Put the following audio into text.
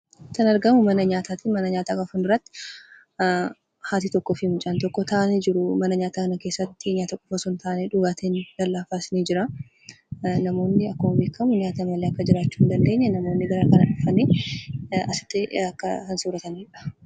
Kan argamu mana nyaataati. Mana nyaataa kana fuulduratti haati tokkoo fi mucaan tokko taa'anii jiru. Mana nyaataa kana keessatti nyaata qofaa osoo hin taane, dhugaatiinis ni jiraa. Akkuma beekamu nyaata malee jiraachuu akka hin dandeenye namoonni garaagaraa dhufanii asitti akka sooratanidha.